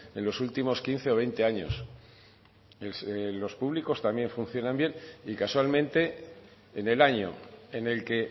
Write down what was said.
en los últimos quince o veinte años los públicos también funcionan bien y casualmente en el año en el que